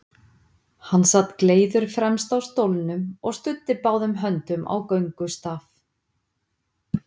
Hann sat gleiður fremst á stólnum og studdi báðum höndum á göngustaf.